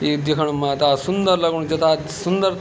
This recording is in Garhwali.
ये दीखण मा ता सुन्दर लगणु जथा सुन्दर।